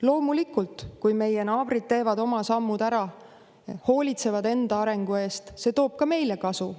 Loomulikult, kui meie naabrid teevad oma sammud ära, hoolitsevad enda arengu eest, siis see toob ka meile kasu.